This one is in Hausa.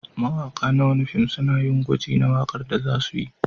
Mawaƙa na wani fim suna yin gwaji na waƙar da za su yi.